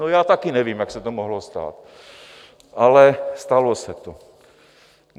No, já taky nevím, jak se to mohlo stát, ale stalo se to.